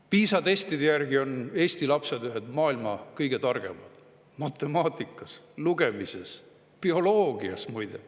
PISA testide järgi on Eesti lapsed ühed maailma kõige targemad matemaatikas, lugemises ja bioloogias, muide.